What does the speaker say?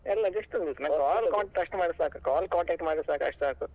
ಅಲ್ಲ just ಒಂದು ನಂಗೆ call contact ಅಷ್ಟು ಮಾಡಿದ್ರೆ call contact ಮಾಡಿದ್ರೆ ಸಾಕು ಅಷ್ಟು ಸಾಕು.